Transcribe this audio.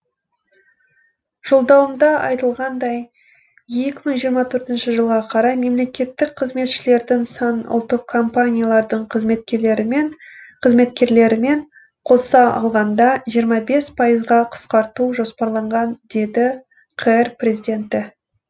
жолдауымда айтылғандай екі мың жиырма төртінші жылға қарай мемлекеттік қызметшілердің санын ұлттық компаниялардың қызметкерлерімен қоса алғанда жиырма бес пайызға қысқарту жоспарланған деді қр президенті